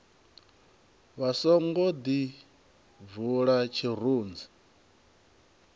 vha songo ḓi bvula tshirunzi